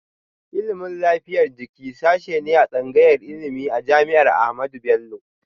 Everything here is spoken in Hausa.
Ilimin lafiyar jiki sashe ne a tsangayar ilimi a jami'ar Ahmadu Bello